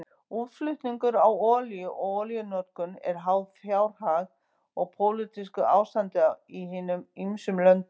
Útflutningur á olíu og olíunotkun eru háð fjárhag og pólitísku ástandi í hinum ýmsu löndum.